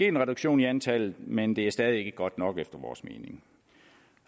en reduktion i antallet men det er stadig ikke godt nok efter vores mening